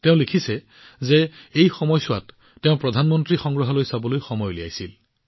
তেওঁ লিখিছে যে এই সময়ছোৱাত তেওঁ প্ৰধানমন্ত্ৰী সংগ্ৰহালয় পৰিদৰ্শন কৰিবলৈ সময় উলিয়াইছিল